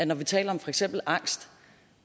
når vi taler om for eksempel angst